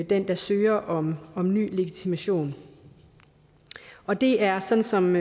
den der søger om om ny legitimation og det er sådan som